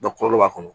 kɔlɔlɔ b'a kɔnɔ